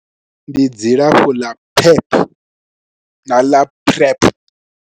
Ndi dzilafho ḽa pep na ḽa PrEP.